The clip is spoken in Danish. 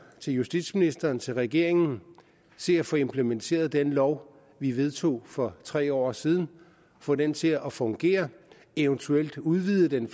til justitsministeren til regeringen se at få implementeret den lov vi vedtog for tre år siden og få den til at fungere og eventuelt udvide den